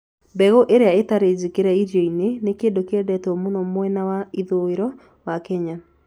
Mbegũ iria itarĩ njĩkĩre irio-inĩ nĩ kĩndũ kĩendetwo mũno mwena wa ithũĩro wa Kenya.